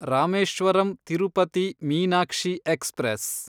Rameswaram Tirupati Meenakshi express